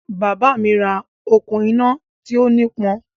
Bàbá mi ra okùn-iná tí ó nípọn.